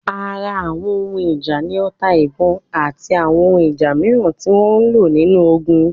Ara Àwọn ohun ìjà ni ota-ìbọn, àti àwọn ohun ìjà mìíràn tí wọ́n lò nínú ogun.